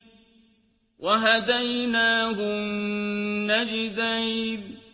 وَهَدَيْنَاهُ النَّجْدَيْنِ